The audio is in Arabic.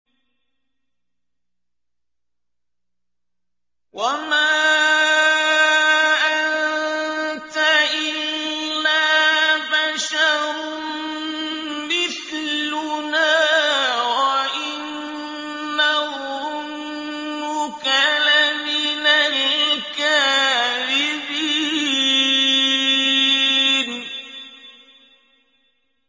وَمَا أَنتَ إِلَّا بَشَرٌ مِّثْلُنَا وَإِن نَّظُنُّكَ لَمِنَ الْكَاذِبِينَ